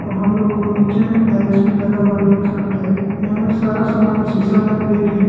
और हम लोग को नीचे में टाइल्स भी लगा हुआ दिख सकता है यहां में सारा समान शीशा में पैक है।